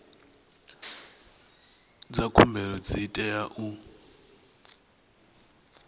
dza khumbelo dzi tea u